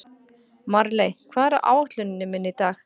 Marley, hvað er á áætluninni minni í dag?